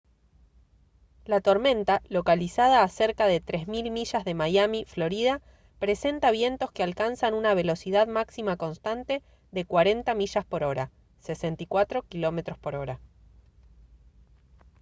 la tormenta localizada a cerca de 3000 millas de miami florida presenta vientos que alcanzan una velocidad máxima constante de 40 mph 64 km/h